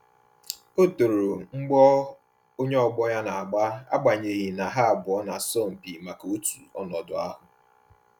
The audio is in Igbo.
O toro mgbọ onye ọgbọ ya na-agba agbanyeghi na ha abụọ na-asọ mpi maka otu ọnọdụ ahụ